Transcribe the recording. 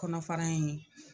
Kɔnɔ fana in